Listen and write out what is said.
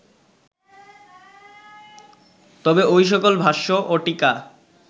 তবে ঐ সকল ভাষ্য ও টীকা